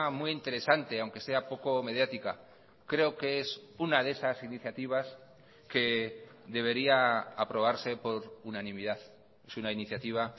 muy interesante aunque sea poco mediática creo que es una de esas iniciativas que debería aprobarse por unanimidad es una iniciativa